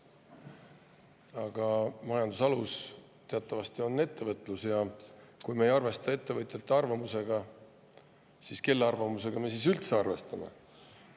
Aga majanduse alus teatavasti on ettevõtlus ja kui me ei arvesta ettevõtjate arvamusega, siis kelle arvamusega me üldse arvestame?